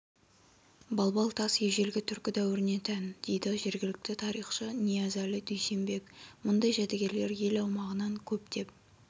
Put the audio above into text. балбал тас ежелгі түркі дәуіріне тән дейді жергілікті тарихшы ниязәлі дүйсенбек мұндай жәдігерлер ел аумағынан көптеп